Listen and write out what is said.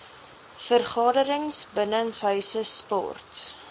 vergaderings binnenshuise sport